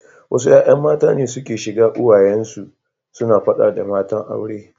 Wasu ’ya’yan mata ne suke shiga uwayen su suna fada da matan aure.